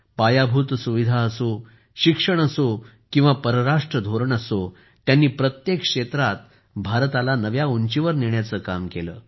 पायाभूत सुविधा असो शिक्षण असो किंवा परराष्ट्र धोरण असो त्यांनी प्रत्येक क्षेत्रात भारताला नव्या उंचीवर नेण्याचे काम केले